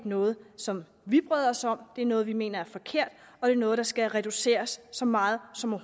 noget som vi bryder os om det er noget som vi mener er forkert og det er noget der skal reduceres så meget som